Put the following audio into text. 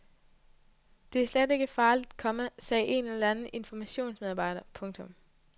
Det er slet ikke farligt, komma sagde en eller anden informationsmedarbejder. punktum